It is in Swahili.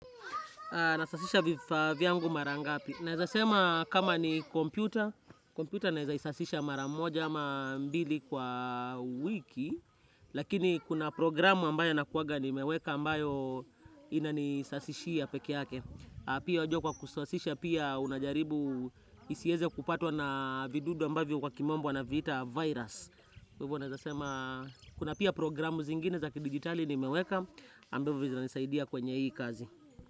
Nasafisha vifaa vyangu mara ngapi. Naeza sema kama ni kompyuta, kompyuta naweza isasisha mara moja ama mbili kwa wiki lakini kuna programu ambayo nakuwanga nimeweka ambayo ina nisasishia peke yake. Pia wajua kwa kusasisha pia unajaribu isiweze kupatwa na vidudu ambavyo kwa kimombo wana viita virus. Kuna pia programu zingine za kidigitali nimeweka ambayo vizina nisaidia kwenye hii kazi.